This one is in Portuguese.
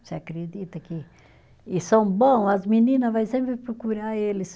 Você acredita que, e são bom, as menina vai sempre procurar eles.